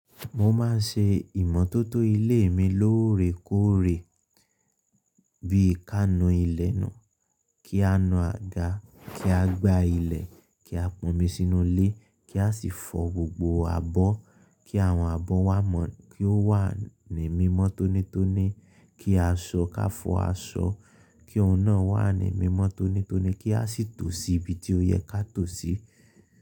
Mo máa ṣe ìmọ́tótó ilé mi lóòrèkóòrè bí i ká nu ilẹ̀ nù, kí a nu àga, kí a gbá ilẹ̀, kí a pọnmi sínú ilé, kí a sì fọ gbogbo abọ́, kí àwọn abọ́ wá mọ́, kí ó wà ní mímọ́ tónítóní, kí a ṣọ ká fọ aṣọ, kí òun náà wà ní mímọ́ tónítóní, kí a sì tò sí ibi tí ó yẹ ká tò sí.